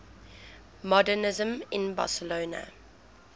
modernisme in barcelona